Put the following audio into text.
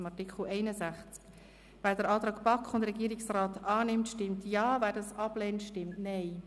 Wer den Antrag von BaK und Regierung zu Artikel 61 annimmt, stimmt Ja, wer diesen ablehnt, stimmt Nein.